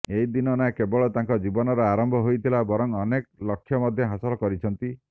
ଏହିଦିନ ନା କେବଳ ତାଙ୍କର ଜୀବନର ଆରମ୍ଭ ହୋଇଥିଲା ବରଂ ଅନେକ ଲକ୍ଷ ମଧ୍ୟ ହାସଲ୍ କରିଛନ୍ତି